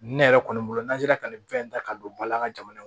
Ne yɛrɛ kɔni bolo n'an sera ka nin fɛn in ta ka don bala an ka jamana kɔnɔ